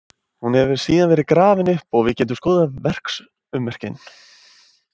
Hún hefur síðan verið grafin upp og við getum skoðað verksummerkin.